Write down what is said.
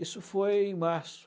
Isso foi em março.